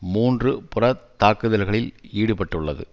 மூன்று புறத் தாக்குதல்களில் ஈடுபட்டுள்ளது